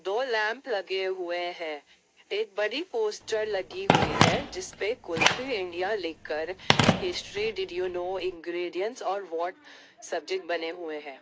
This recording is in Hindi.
दो लैंप लगे हुए हैं एक बड़ी पोस्टर लगी हुई है जिस पे कुल्फी इंडिया लिखकर history did you know ingredients और व्हाट सब्जेक्ट बने हुए हैं।